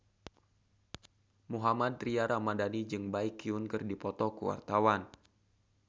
Mohammad Tria Ramadhani jeung Baekhyun keur dipoto ku wartawan